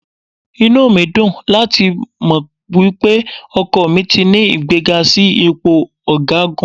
Inú mi dùn láti mọ̀ wípé ọkọ mi ti ní ìgbéga sí ipò ọ̀gágun.